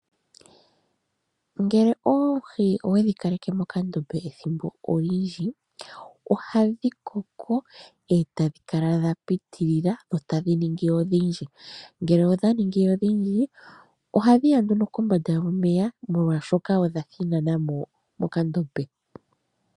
Ngele oohi owedhi kaleke mokandombe ethimbo olindji, ohadhi koko e ta dhi kala dha pitilila, e ta dhi ningi odhindji. Ngele odha ningi odhindji, ohadhi ya nduno kombanda yomeya, molwaashoka odha thinanà mo mokandombe.